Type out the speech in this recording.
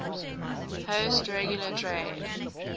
host regular trade